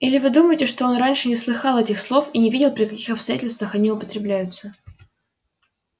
или вы думаете что он раньше не слыхал этих слов и не видел при каких обстоятельствах они употребляются